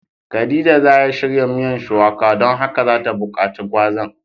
Khadijah za ya shirya miyan shuwaka ,don haka za ta bukace gwazan.